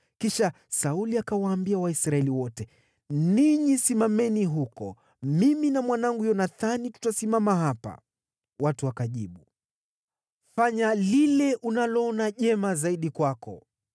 Kisha Sauli akawaambia Waisraeli wote, “Ninyi simameni huko; mimi na mwanangu Yonathani tutasimama hapa.” Watu wakajibu, “Fanya lile unaloona jema zaidi kwako.”